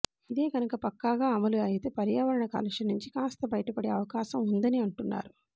ఇదే కనుక పక్కాగా అమలు అయితే పర్యావరణ కాలుష్యం నుంచి కాస్త బయటపడే అవకాశం ఉందని అంటున్నారు